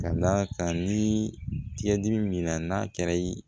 Ka d'a kan ni tigɛdimi min na n'a kɛra i ye